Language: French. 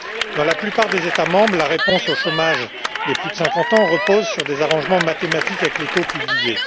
Dans la plupart des États membres, la réponse au chômage des plus de 50 ans repose sur des arrangements mathématiques avec les taux publiés.